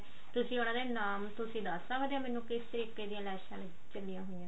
ਤੁਸੀਂ ਉਹਨਾ ਦੇ ਨਾਮ ਤੁਸੀਂ ਦੱਸ ਸਕਦੇ ਹੋ ਮੈਨੂੰ ਕਿਸੇ ਤਰੀਕੇ ਦੀਆਂ ਲੈਸਾਂ ਚੱਲੀਆਂ ਹੋਈਆਂ